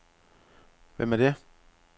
Hvem er det